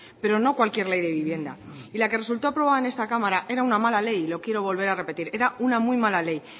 pero no cualquier ley de vivienda y la que resultó aprobada en esta cámara era una mala ley lo quiero volver a repetir era una muy mala ley